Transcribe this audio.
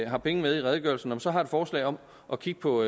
har penge med i redegørelsen så har et forslag om at kigge på